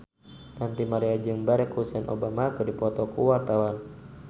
Ranty Maria jeung Barack Hussein Obama keur dipoto ku wartawan